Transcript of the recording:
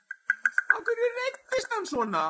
Af hverju reiddist hann svona?